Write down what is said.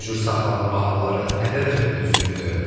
Bu cür saxlanılma halları nə dərəcədə düzgündür?